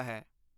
ਹੈ।